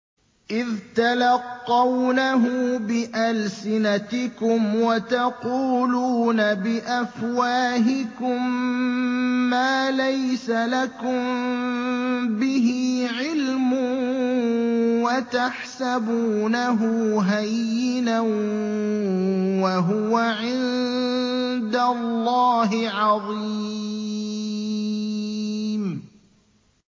إِذْ تَلَقَّوْنَهُ بِأَلْسِنَتِكُمْ وَتَقُولُونَ بِأَفْوَاهِكُم مَّا لَيْسَ لَكُم بِهِ عِلْمٌ وَتَحْسَبُونَهُ هَيِّنًا وَهُوَ عِندَ اللَّهِ عَظِيمٌ